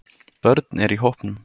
Börn er í hópnum